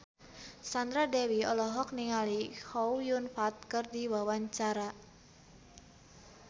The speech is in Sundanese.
Sandra Dewi olohok ningali Chow Yun Fat keur diwawancara